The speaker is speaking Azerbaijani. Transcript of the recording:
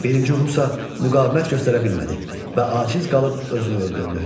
Birinci Rusa müqavimət göstərə bilmədi və aciz qalıb özünü öldürdü.